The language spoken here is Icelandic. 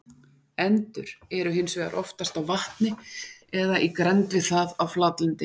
Endur eru hins vegar oftast á vatni eða í grennd við það á flatlendi.